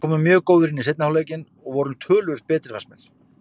Við komum mjög góðir inn í seinni hálfleikinn og vorum töluvert betri fannst mér.